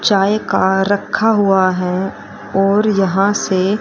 चाय का रखा हुआ है और यहां से--